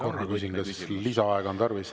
Korra küsin, kas lisaaega on tarvis.